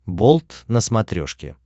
болт на смотрешке